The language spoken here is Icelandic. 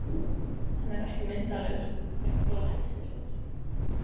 Hann er ekki myndarlegur, hann er glæsilegur!